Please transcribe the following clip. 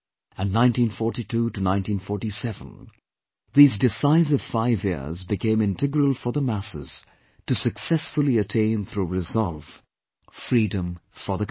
And 1942 to 1947 these decisive five years became integral for the masses to successfully attain through resolve, freedom for the country